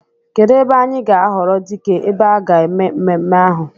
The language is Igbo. Kedụ ebe anyị ga-ahọrọ dike ebe a ga-eme mmemme ahụ?